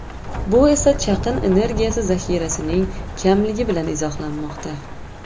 Bu esa chaqin energiyasi zaxirasining kamligi bilan izohlanmoqda.